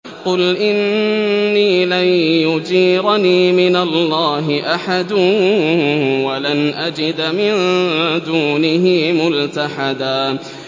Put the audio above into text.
قُلْ إِنِّي لَن يُجِيرَنِي مِنَ اللَّهِ أَحَدٌ وَلَنْ أَجِدَ مِن دُونِهِ مُلْتَحَدًا